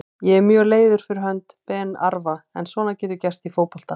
Ég er mjög leiður fyrir hönd Ben Arfa en svona gerist í fótbolta.